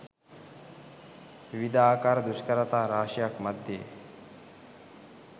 විවිධාකාර දුෂ්කරතා රාශියක් මධ්‍යයේ